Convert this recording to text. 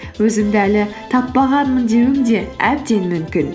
өзімді әлі таппағанмын деуің де әбден мүмкін